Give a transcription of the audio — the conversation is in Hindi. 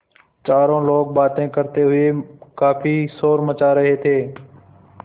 चारों लोग बातें करते हुए काफ़ी शोर मचा रहे थे